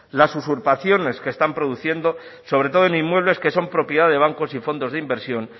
las usurpaciones que están produciendo sobre todo en inmuebles que son propiedad de bancos y fondos de inversión